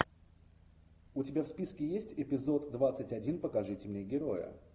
у тебя в списке есть эпизод двадцать один покажите мне героя